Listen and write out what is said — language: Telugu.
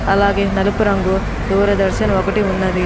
అలాగే నలుపు రంగు దూరదర్శన్ ఒకటి ఉన్నది.